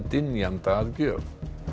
dynjanda að gjöf